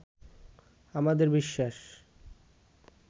আমাদের বিশ্বাস